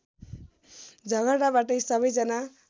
झगडा बाटै सबैजना